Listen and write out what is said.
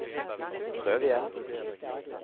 prøv igjen